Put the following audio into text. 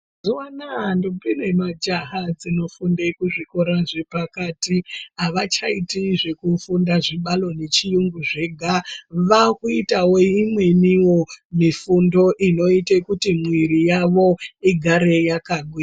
Mazuwa anaa ndombi nemajaha dzinofunde kuzvikora zvepakati havachaiti zvekufunda zvibalo nechiyungu zvega, vaakuitawo imweniwo mifundo inoite kuti mwiiri yavo igare yakagwi..